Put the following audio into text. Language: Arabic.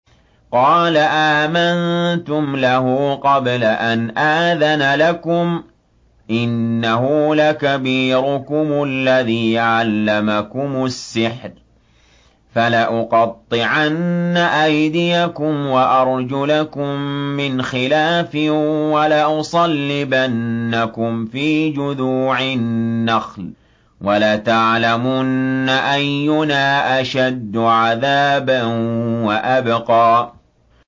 قَالَ آمَنتُمْ لَهُ قَبْلَ أَنْ آذَنَ لَكُمْ ۖ إِنَّهُ لَكَبِيرُكُمُ الَّذِي عَلَّمَكُمُ السِّحْرَ ۖ فَلَأُقَطِّعَنَّ أَيْدِيَكُمْ وَأَرْجُلَكُم مِّنْ خِلَافٍ وَلَأُصَلِّبَنَّكُمْ فِي جُذُوعِ النَّخْلِ وَلَتَعْلَمُنَّ أَيُّنَا أَشَدُّ عَذَابًا وَأَبْقَىٰ